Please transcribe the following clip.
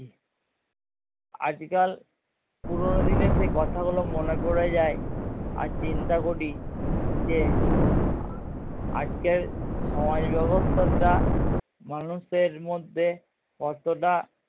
আজকাল পুরোনো দিনের সেই কথা গুলো মনে পড়ে যায় আর চিন্তা করি যে আজকের সমাজ ব্যাবস্থা যা মানুষের মধ্যে কতটা